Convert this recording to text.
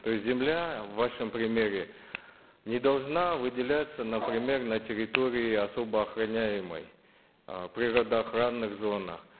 то есть земля в вашем примере не должна выделяться например на территории особо охраняемой э природоохранных зонах